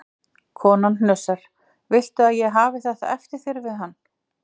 Konan hnussar: Viltu að ég hafi þetta eftir þér við hann?